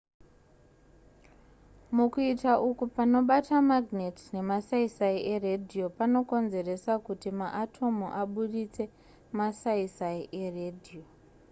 mukuita uku panobata magnet nemasaisai eradio panokonzeresa kuti maatomu abudise masaisai eradio